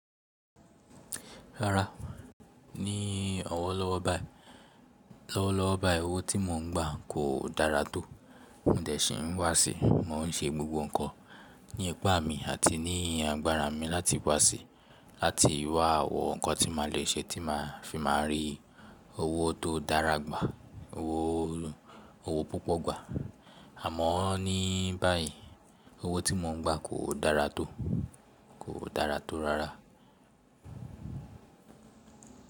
Rárá, ní ọwọ lọ́wọ́ bai, lọ́wọ́ lọ́wọ́ bai owó tí mò ń gbà kò dára tó. Mó n dẹ̀ sí n wá sí, mò n ṣe gbogbo ǹkan ní ipà mi àti ní agbára mi láti wá sí, láti wá wọ̀ ǹkan tí màá le ṣe tí màá fi máa rí owó tó dára gbà, owó, owó púpọ̀ gbà. Àmọ́ ní báyìí owó tí mò ń gbà kò dára tó, kò dára tó rárá.